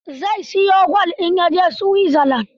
Zai siyo gwal in ya je Switzerland.